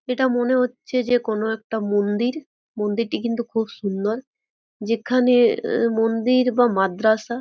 এটা মনে হচ্ছে যে কোনো একটা মন্দির। মন্দিরটি কিন্তু খুব সুন্দর যেখানে অম মন্দির বা মাদ্রাসা।